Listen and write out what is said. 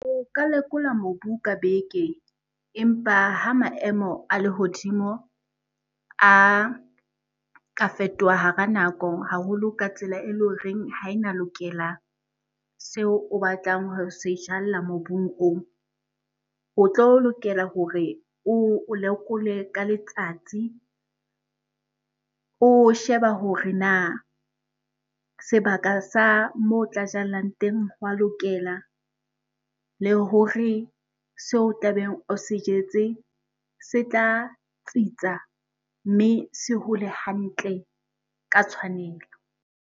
O ka lekola mobu ka beke. Empa ha maemo a lehodimo a ka fetoha hara nako haholo ka tsela ele horeng ha ena lokela seo o batlang ho se jalla mobung oo. O tlo lokela hore o lekole ka letsatsi, o sheba hore na sebaka sa moo tla jallang teng ho a lokela, le hore se o tlabeng o se jetse se tla tsitsa mme se hole hantle ka tshwanelo.